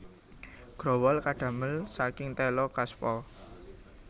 Growol kadamel saking téla kaspa